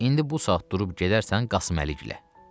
İndi bu saat durub gedərsən Qasıməlikgilə.